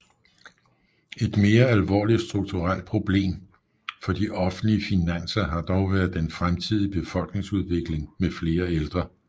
Et mere alvorligt strukturelt problem for de offentlige finanser har dog været den fremtidige befolkningsudvikling med flere ældre